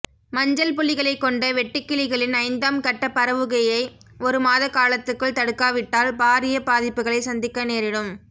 மஞ்சள் புள்ளிகளைக் கொண்ட வெட்டுக்கிளிகளின் ஐந்தாம் கட்ட பரவுகையை ஒரு மாதகாலத்துக்குள் தடுக்காவிட்டால் பாரிய பாதிப்புக்களை சந்திக்க நேரிடும்